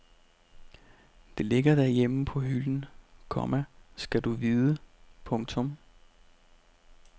Det ligger derhjemme på hylden, komma skal du vide. punktum